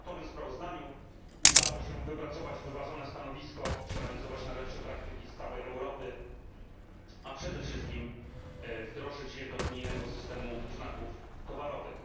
W przedmiotowym sprawozdaniu udało się wypracować wyważone stanowisko, przeanalizować najlepsze praktyki z całej Europy, a przede wszystkim wdrożyć je do unijnego systemu znaków towarowych.